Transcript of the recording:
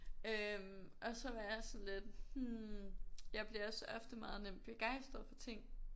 Øh og så var jeg sådan lidt hm jeg bliver også ofte meget nemt begejsret for ting